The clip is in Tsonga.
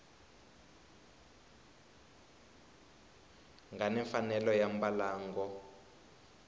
nga ni mfanelo ya mbalango